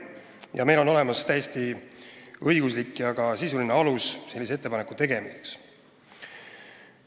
Ja meil on olemas täiesti õiguslik ja ka sisuline alus sellise ettepaneku tegemiseks.